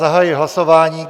Zahajuji hlasování.